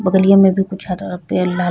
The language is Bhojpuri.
बगलिया में भी कुछ आधा पेड़ ला --